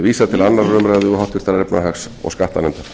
vísað til annarrar umræðu og háttvirtrar efnahags og skattanefndar